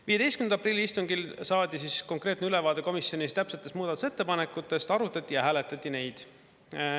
15. aprilli istungil saadi siis konkreetne ülevaade komisjonis täpsetest muudatusettepanekutest, arutati ja hääletati neid.